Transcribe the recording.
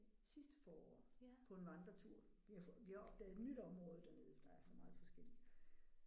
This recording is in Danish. Sidste forår på en vandretur vi har vi har opdaget et nyt område dernede for der er så meget forskelligt